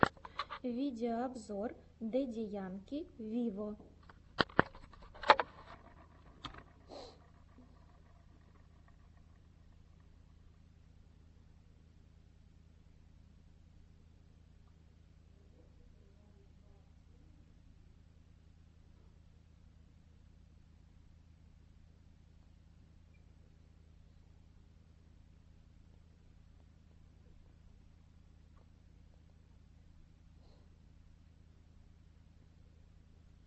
видеообзор дэдди янки виво